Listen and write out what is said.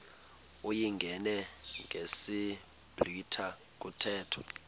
uyingene ngesiblwitha kuthethwa